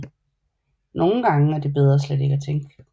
Nogle gange er det bedre slet ikke at tænke